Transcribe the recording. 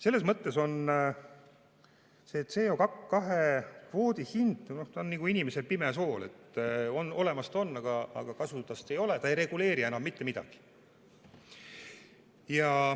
Selles mõttes on see CO2 kvoodi hind nagu inimesel pimesool – olemas ta on, aga kasu tast ei ole, ta ei reguleeri enam mitte midagi.